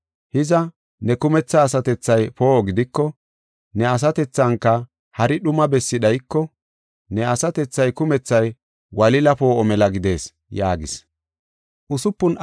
Hiza, ne kumetha asatethay poo7o gidiko, ne asatethanka hari dhuma bessi dhayiko, ne asatethaa kumethay wolile poo7o mela gidees” yaagis.